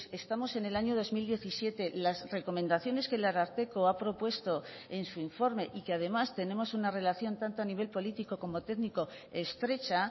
estamos en el año dos mil diecisiete las recomendaciones que el ararteko ha propuesto en su informe y que además tenemos una relación tanto a nivel político como técnico estrecha